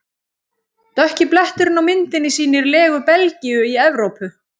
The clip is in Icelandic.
Dökki bletturinn á myndinni sýnir legu Belgíu í Evrópu.